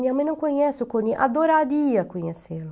Minha mãe não conhece o Coni, adoraria conhecê-lo.